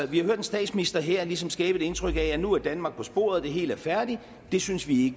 vi har hørt en statsminister her ligesom skabe et indtryk af at nu er danmark på sporet det hele er færdigt det synes vi